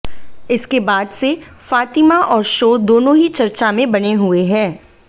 इसके बाद से फातिमा और शो दोनों ही चर्चा में बने हुए हैं